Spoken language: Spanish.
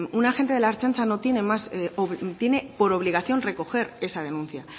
un agente de la ertzaintza tiene por obligación recoger esa denuncia